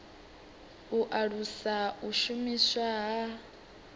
u alusa u shumiswa ha